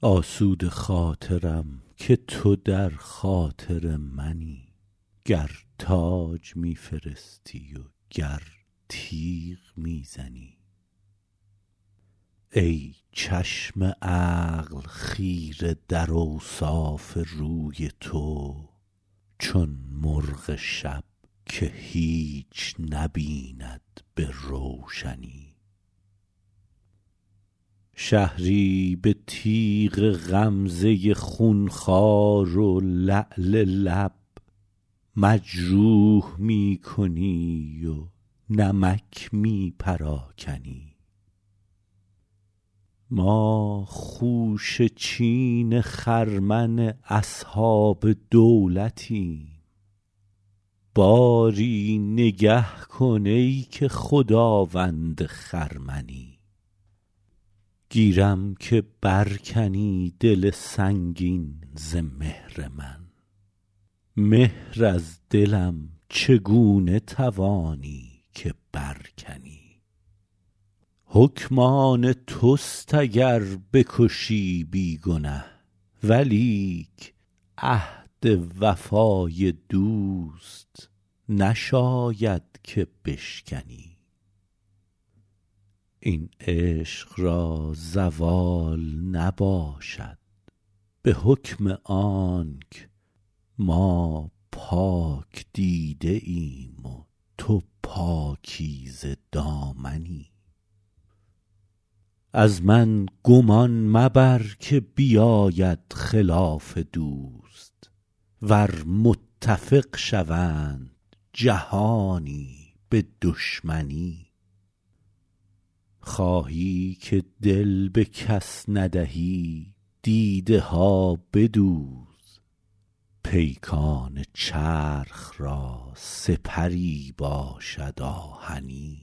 آسوده خاطرم که تو در خاطر منی گر تاج می فرستی و گر تیغ می زنی ای چشم عقل خیره در اوصاف روی تو چون مرغ شب که هیچ نبیند به روشنی شهری به تیغ غمزه خونخوار و لعل لب مجروح می کنی و نمک می پراکنی ما خوشه چین خرمن اصحاب دولتیم باری نگه کن ای که خداوند خرمنی گیرم که بر کنی دل سنگین ز مهر من مهر از دلم چگونه توانی که بر کنی حکم آن توست اگر بکشی بی گنه ولیک عهد وفای دوست نشاید که بشکنی این عشق را زوال نباشد به حکم آنک ما پاک دیده ایم و تو پاکیزه دامنی از من گمان مبر که بیاید خلاف دوست ور متفق شوند جهانی به دشمنی خواهی که دل به کس ندهی دیده ها بدوز پیکان چرخ را سپری باشد آهنی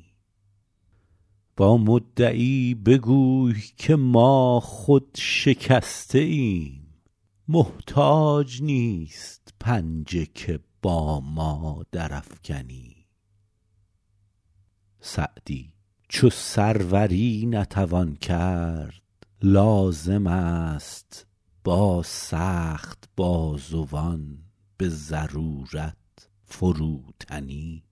با مدعی بگوی که ما خود شکسته ایم محتاج نیست پنجه که با ما درافکنی سعدی چو سروری نتوان کرد لازم است با سخت بازوان به ضرورت فروتنی